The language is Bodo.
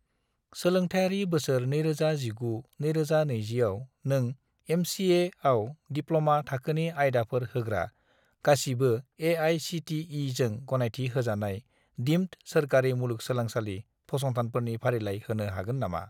सोलोंथायारि बोसोर 2019 - 2020 आव नों एम.चि.ए.आव दिप्ल'मा थाखोनि आयदाफोर होग्रा गासिबो ए.आइ.सि.टि.इ.जों गनायथि होजानाय दिम्ड सोरखारि मुलुंगसोलोंसालि फसंथानफोरनि फारिलाइ होनो हागोन नामा?